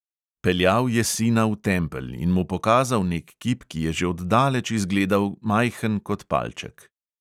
Peljal je sina v tempelj in mu pokazal nek kip, ki je že od daleč izgledal majhen kot palček.